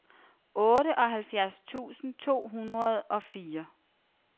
otteoghalvfjerds tusind to hundrede og fire